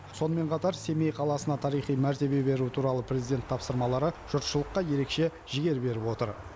сонымен қатар семей қаласына тарихи мәртебе беру туралы президент тапсырмалары жұртшылыққа ерекше жігер беріп отыр